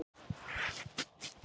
Ari horfði á hann undrandi.